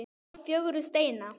þá fögru steina.